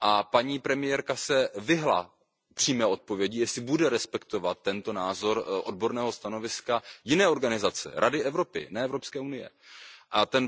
Paní premiérka se vyhnula přímé odpovědi, jestli bude respektovat tento názor odborného stanoviska jiné organizace, Rady Evropy, ne EU.